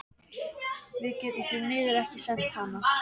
Við getum því miður ekki sent hana.